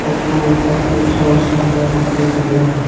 Photo काफी अच्छा और शानदार दिखाई दे रहा है।